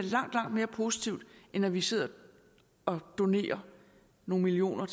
langt langt mere positivt end at vi sidder og donerer nogle millioner